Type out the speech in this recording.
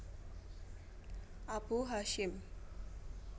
Abu Hasyim